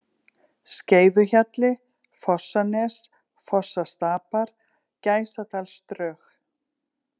Skeifuhjalli, Fossanes, Fossastapar, Gæsadalsdrög